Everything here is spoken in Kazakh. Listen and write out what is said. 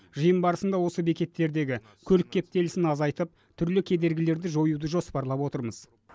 жиын барысында осы бекеттердегі көлік кептелісін азайтып түрлі кедергілерді жоюды жоспарлап отырмыз